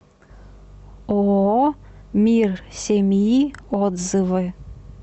ооо мир семьи отзывы